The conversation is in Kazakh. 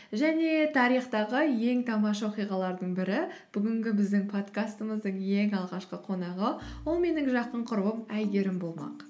және тарихтағы ең тамаша оқиғалардың бірі бүгінгі біздің подкастымыздың ең алғашқы қонағы ол менің жақын құрбым әйгерім болмақ